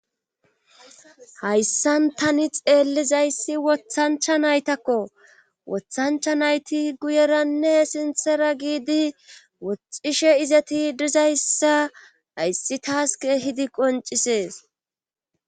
Hayssan tani xeellizayssi wothancha naytakko wothancha nayti guyeranne sinthera giidi woxishe izeti dizayssa hayssi taaske hidi qoncisees.